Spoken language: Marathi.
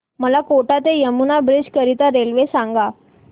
मला कोटा ते यमुना ब्रिज करीता रेल्वे सांगा